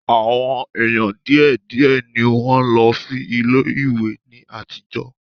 Àwọn èèyàn díẹ̀ díẹ̀ ni wọ́n ń lọ sí ilé ìwé ní àtijọ́